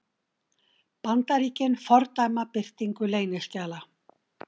Bandaríkin fordæma birtingu leyniskjala